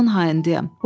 Canımın hayındayam.